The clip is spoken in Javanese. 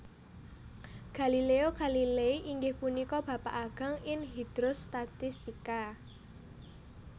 Galileo Galilei inggih punika bapak ageng ing hidrostatika